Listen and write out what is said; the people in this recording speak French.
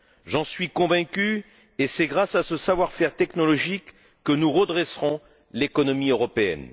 J'en suis convaincu et c'est grâce à ce savoir faire technologique que nous redresserons l'économie européenne.